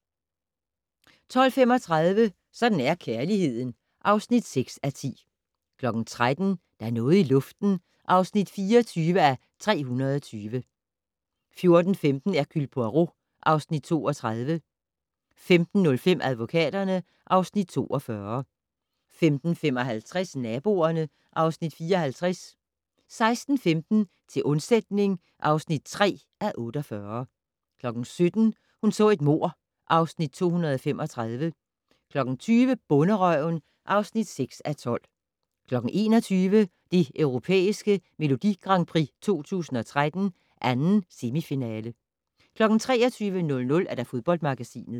12:35: Sådan er kærligheden (6:10) 13:00: Der er noget i luften (24:320) 14:15: Hercule Poirot (Afs. 32) 15:05: Advokaterne (Afs. 42) 15:55: Naboerne (Afs. 54) 16:15: Til undsætning (3:48) 17:00: Hun så et mord (Afs. 235) 20:00: Bonderøven (6:12) 21:00: Det Europæiske Melodi Grand Prix 2013, 2. semifinale 23:00: Fodboldmagasinet